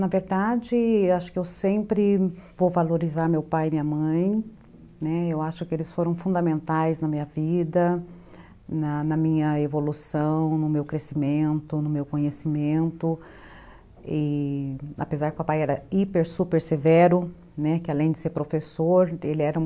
Na verdade, acho que eu sempre vou valorizar meu pai e minha mãe, né, eu acho que eles foram fundamentais na minha vida, na minha evolução, no meu crescimento, no meu conhecimento, e apesar que o papai era hiper, super severo, que além de ser professor, ele era um